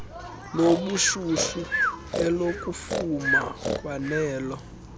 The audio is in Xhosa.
lobushushu elokufuma kwanelo